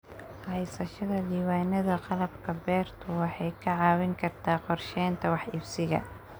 Haysashada diiwaannada qalabka beertu waxay kaa caawin kartaa qorsheynta wax iibsiga.